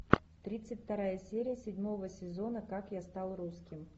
тридцать вторая серия седьмого сезона как я стал русским